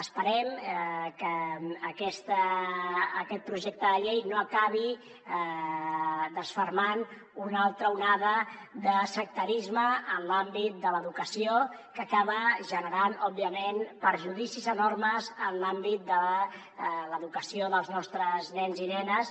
esperem que aquest projecte de llei no acabi desfermant una altra onada de sectarisme en l’àmbit de l’educació que acaba generant òbviament perjudicis enormes en l’àmbit de l’educació dels nostres nens i nenes